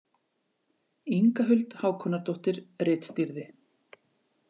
Inga Huld Hákonardóttir ritstýrði.